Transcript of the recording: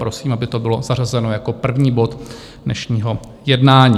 Prosím, aby to bylo zařazeno jako první bod dnešního jednání.